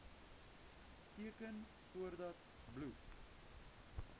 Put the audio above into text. teken voordat bloed